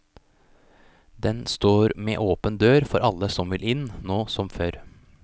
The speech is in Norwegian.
Den står med åpen dør for alle som vil inn, nå som før.